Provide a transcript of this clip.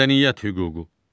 Mədəniyyət hüququ.